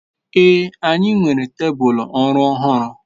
ee, anyi nwere tebul oru ohuru